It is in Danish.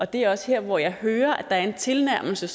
det er også her hvor jeg hører er en tilnærmelse